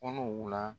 Kɔnɔw la